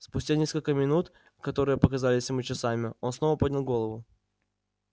спустя несколько минут которые показались ему часами он снова поднял голову